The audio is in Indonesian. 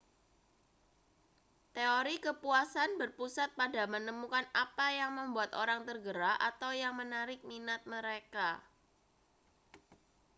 teori kepuasan berpusat pada menemukan apa yang membuat orang tergerak atau yang menarik minat mereka